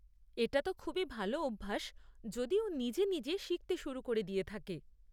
এটা তো খুবই ভালো অভ্যাস যদি ও নিজেই নিজেই শিখতে শুরু করে দিয়ে থাকে।